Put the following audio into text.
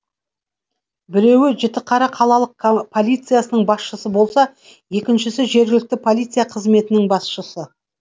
біреуі жітіқара қалалық полициясының басшысы болса екіншісі жергілікті полиция қызметінің басшысы